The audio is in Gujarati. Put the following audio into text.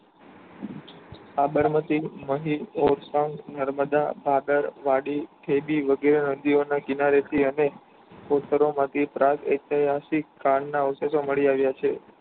સાબરમતી મહી સ્થાન નર્મદા સાગર વાડી વગેરે નદી ઓના કિનારે થી અને પ્રાપ્ત ઐતિહાસિક કાળ ના અવશેષો મળી આવ્યા છે.